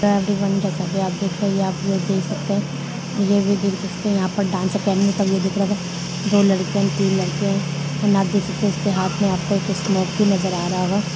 हे everyone जैसा की आप देख रहे है ये आपलोग देख सकते है और ये भी दिख जिसने यहाँ पर डांस अकेडमी का व्यू दिख रहा होगा दो लड़कियां तीन लड़के है एंड आप देख सकते है इसके हाथ में आपको एक स्मोक भी नज़र आ रहा होगा।